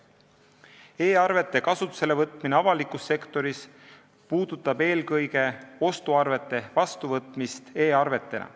E-arvete kasutusele võtmine avalikus sektoris puudutab eelkõige ostuarvete vastuvõtmist e-arvetena.